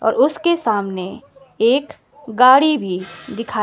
और उसके सामने एक गाड़ी भी दिखा--